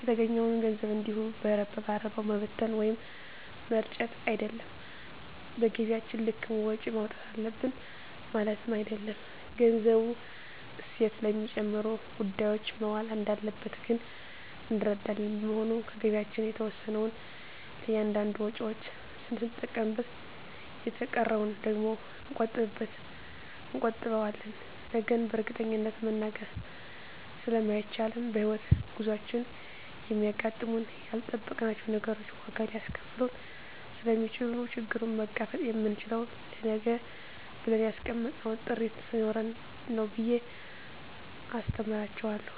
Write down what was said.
የተገኘዉን ገንዘብ እንዲሁ በረባ ባረባዉ መበተን ወይም መርጨት አይደለም በገቢያችን ልክም ወጪ ማዉጣት አለብን ማለትም አይደለም ገንዘቡ እሴት ለሚጨምሩ ጉዳዮች መዋል እንዳለበት ግን እንረዳለን በመሆኑም ከገቢያችን የተወሰነዉን ለእያንዳንድ ወጪዎች ስንጠቀምበት የተቀረዉን ደግሞ እንቆጥበዋለን ነገን በእርግጠኝነት መናገር ስለማይቻልም በሕይወት ጉዟችን የሚያጋጥሙን ያልጠበቅናቸዉ ነገሮች ዋጋ ሊያስከፍሉን ስለሚችሉ ችግሩን መጋፈጥ የምንችለዉ ለነገ ብለን ያስቀመጥነዉ ጥሪት ስኖረን ነዉ ብየ አስተምራቸዋለሁ